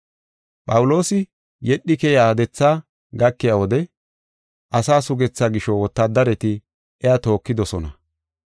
Phawuloosi yedhi keyiya dethaa gakiya wode asaa sugethaa gisho wotaadareti iya tookidosona.